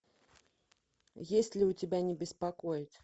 есть ли у тебя не беспокоить